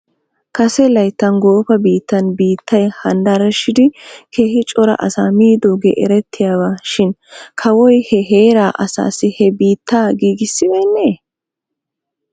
Kase layttan goofa biittan biittay handaraashidi keehi cora asaa miidoogee erettiyaaba shin kawoy he heeraa asaassi he biittaa giigissisibeenee ?